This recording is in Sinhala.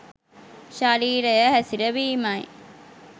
ශරීරය හැසිරවීමයි.